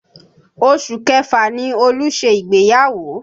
Oṣù Kẹfà ni Olú ṣe ìgbéyàwó